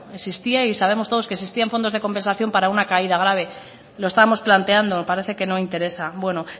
existía y sabemos todos que existían fondos de compensación para una caída grave lo estamos planteando parece que no interesa bueno